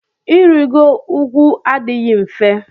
Irigo ugwu adịghị mfe.